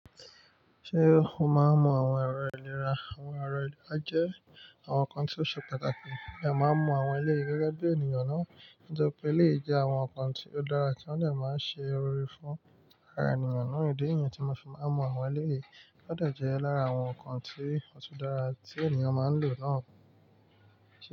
Ṣé o máa n mu àwọn ẹ̀rọ ìlera? Àwọn ẹ̀rọ ìlera jẹ́ àwọn nǹkan tí ó ṣe pàtàkì pé a máa ń mọ àwọn eleyi gẹ́gẹ́ bí ènìyàn náà, nítọri pé éleyi jẹ́ àwọn nǹkan tí ó dára tí wọ́n de máa ń ṣe ìrọrí fún ara ènìyàn náà. Idi niyẹn tí mo fi máa ń mu àwọn éleyí ó de jẹ́ lára àwọn nǹkan tí ó ṣi dára tí ènìyàn máa ń lò náà.